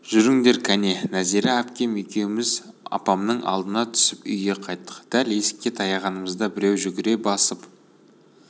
жүріңдер кәне нәзира әпкем екеуміз апамның алдына түсіп үйге қайттық дәл есікке таяғанымызда біреу жүгіре басып